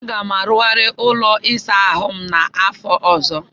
Aga m arụghari ụlọ ịsa ahụ m n'afọ ọzọ.